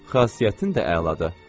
Xasiyyətin də əladır.